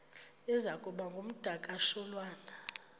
iza kuba ngumdakasholwana